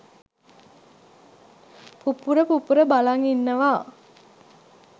පුපුර පුපුර බලන් ඉන්නවා